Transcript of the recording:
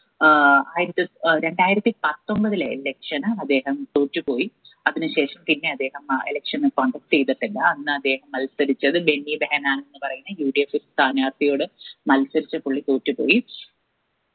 ഏർ ആയിരത്തി ഏർ രണ്ടായിരത്തി പത്തൊമ്പതിലെ election അദ്ദേഹം തോറ്റു പോയി അതിന് ശേഷം പിന്നെ അദ്ദേഹം അഹ് election നു contest ചെയ്തിട്ടില്ല അന്ന് അദ്ദേഹം മത്സരിച്ചത് ബെഞ്ഞി ബെഹനാ എന്ന് പറയുന്ന UDF സ്ഥാനാർത്ഥിയോട് മത്സരിച്ച് പുള്ളി തോറ്റുപോയി